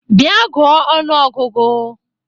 Bịa gụọ ọnụ ọgụgụ!